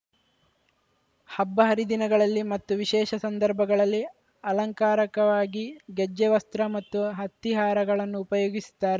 ಹಬ್ಬ ಹರಿದಿನಗಳಲ್ಲಿ ಮತ್ತು ವಿಶೇಷ ಸಂದರ್ಭಗಳಲ್ಲಿ ಅಲಂಕಾರಕವಾಗಿ ಗೆಜ್ಜೆವಸ್ತ್ರ ಮತ್ತು ಹತ್ತಿಹಾರಗಳನ್ನು ಉಪಯೋಗಿಸುತ್ತಾರೆ